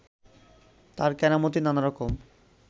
তাঁর কেরামতি নানা রকম